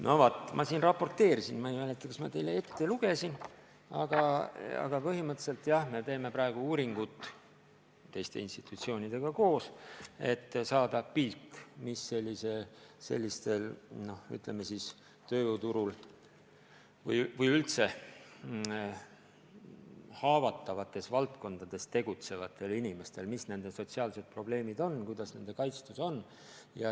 No vaat, ma siin juba raporteerisin – ma ei mäleta, kas ma selle teile ette lugesin –, aga põhimõtteliselt me teeme praegu koos teiste institutsioonidega uuringut, et saada pilt, millised sotsiaalsed probleemid on, ütleme siis, tööjõuturul haavatavates valdkondades tegutsevatel inimestel, kuidas nende kaitstus on.